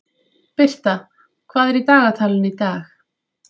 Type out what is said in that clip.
Birta, hvað er í dagatalinu í dag?